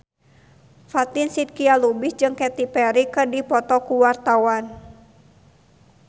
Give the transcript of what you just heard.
Fatin Shidqia Lubis jeung Katy Perry keur dipoto ku wartawan